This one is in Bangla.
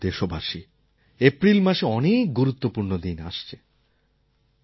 আমার প্রিয় দেশবাসী এপ্রিল মাসে অনেক গুরুত্বপূর্ণ দিন আসছে